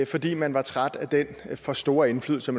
fordi man var træt af den for store indflydelse